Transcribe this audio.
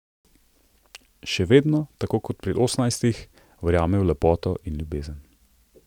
Še vedno, tako kot pri osemnajstih, verjame v lepoto in ljubezen.